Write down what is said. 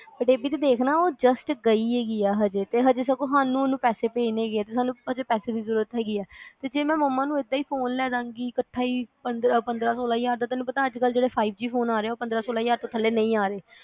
but ਇਹ ਵੀ ਦੇਖ ਨਾ ਉਹ just ਗਈ ਆ ਹਜੇ ਤੇ ਹਜੇ ਸਗੋਂ ਹਾਨੂੰ ਉਹਨੂੰ ਪੈਸੇ ਪੇਜਣੇ ਹੈਗੇ ਆ ਹਜੇ ਪੈਸੇ ਦੀ ਜਰੂਰਤ ਹੇਗੀ ਆ ਤੇ ਜੇ ਮੈਂ ਮੰਮਾ ਨੂੰ ਇਹਦਾ ਹੀ ਫੋਨ ਲੈਦਾ ਗੀ ਕੱਠਾ ਪੰਦਰਾਂ ਸੋਲ੍ਹਾ ਹਜਾਰ ਦਾ ਤੈਨੂੰ ਅੱਜ ਕੱਲ ਜਿਹੜੇ five g ਫੋਨ ਆ ਰਹੇ ਆ ਉਹ ਪੰਦਰਾਂ ਸੋਲ੍ਹਾ ਹਜਾਰ ਤੋਂ ਥੱਲੇ ਨਹੀਂ ਆ ਰਹੇ